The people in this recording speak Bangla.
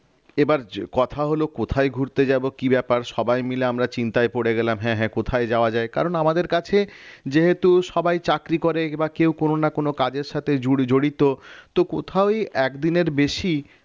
এবার কথা হলো কোথায় ঘুরতে যাব কি ব্যাপার সবাই মিলে আমরা চিন্তায় পড়ে গেলাম হ্যাঁ হ্যাঁ কোথায় যাওয়া যায় কারণ আমাদের কাছে যেহেতু সবাই চাকরি করে এবার কেউ কোন না কোন কাজের সাথে জড়ি~জড়িত তো কোথাওই একদিনের বেশি